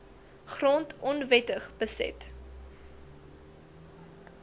grond onwettig beset